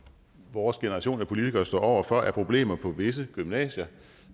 vores generation af politikere står over for er problemer på visse gymnasier